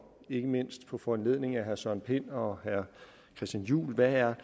ikke mindst på foranledning af herre søren pind og herre christian juhl været